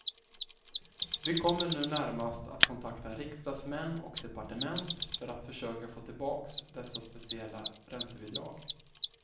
Vi kommer nu närmast att kontakta riksdagsmän och departement för att försöka få tillbaks dessa speciella räntebidrag.